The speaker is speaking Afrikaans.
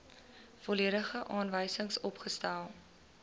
volledige aanwysings opgestel